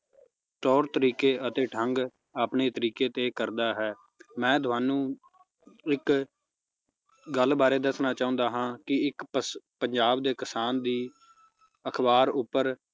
ਤੌਰ ਤਰੀਕੇ ਅਤੇ ਢੰਗ ਆਪਣੇ ਤਰੀਕੇ ਦੇ ਕਰਦਾ ਹੈ ਮੈ ਤੁਹਾਨੂੰ ਇਕ ਗੱਲ ਬਾਰ ਦੱਸਣਾ ਚਾਹੁੰਦਾ ਹਾਂ ਕਿ ਇਕ ਪਸ਼~ ਪੰਜਾਬ ਦੇ ਕਿਸਾਨ ਦੀ ਅਖਬਾਰ ਉਪਰ